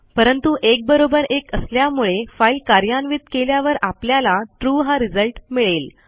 परंतु एक बरोबर एक असल्यामुळे फाईल कार्यान्वित केल्यावर आपल्याला ट्रू हा रिझल्ट मिळेल